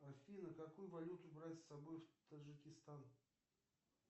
афина какую валюту брать с собой в таджикистан